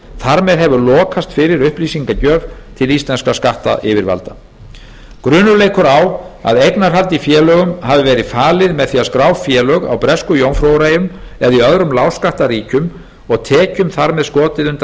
þar með hefur lokast fyrir upplýsingagjöf til íslenskra skattyfirvalda grunur leikur á að eignarhald í félögum hafi verið falið með því að skrá félög á bresku jómfrúreyjum eða í öðrum lágskattaríkjum og tekjum þar með skotið undan